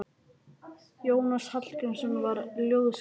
Jónas Hallgrímsson var ljóðskáld.